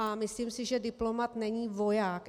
A myslím si, že diplomat není voják.